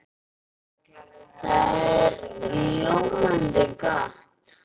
Það er ljómandi gott!